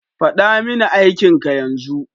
Faɗa mini aikin ka yanzu!